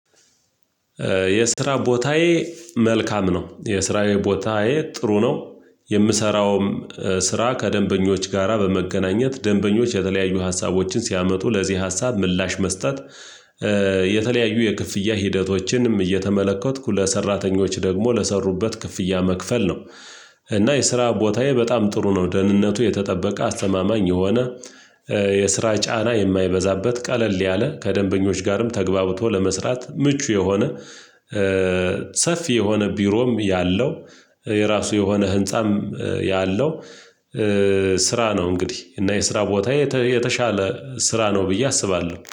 የስራ ቦታዬ መልካም ነው የስራዬ ቦታዬ ጥሩ ነው። የምሰራውም ስራ ከደንበኞች ጋራ በመገናኘት ደንበኞች የተለያዩ ሀሳቦችን ሲያመጡ ለዚህ ሀሳብ ምላሽ መስጠት። የተለያዩ የክፍያ ሂደቶችንም እየተመለከትኩ ለሰራተኞች ደግሞ ለሰሩበት ክፍያ መክፈል ነው። እና የስራ ቦታዬ በጣም ጥሩ ነው ደህንነቱ የተጠበቀ አስተማማኝ የሆነ የስራ ጫና የማይበዛበት ቀለል ያለ ከደንበኞች ጋርም ተግባብቶ ለመስራት ምቹ የሆነ። ሰፊ የሆነ ቢሮም ያለው የራሱ የሆነ ህንፃም ያለው። ስራ ነው እንግዲህ እና የስራ ቦታ የተሻለ ስራ ነው ብዬ አስባለሁ